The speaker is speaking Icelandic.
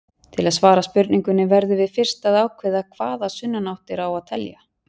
Til að svara spurningunni verðum við fyrst að ákveða hvaða sunnanáttir á að telja.